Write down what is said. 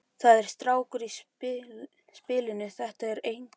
Það er strákur í spilinu. þetta eru einkennin!